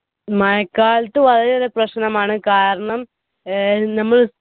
മഴക്കാലത്തു വളരേറെ പ്രശ്നമാണ് കാരണം ഏർ നമ്മൾ